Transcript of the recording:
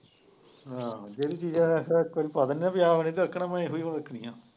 ਹਾਂ ਜਿਹੜੀ ਚੀਜ਼ ਇੱਕ ਵਾਰੀ ਪਾ ਦਿੰਦੇ ਹੈ ਵੀ ਆਹ ਨਹੀਂ ਦੱਸਣਾ ਉਹਨੇ ਉਹੀ ਚੀਜ਼ ਦੱਸਣੀ ਹੈ।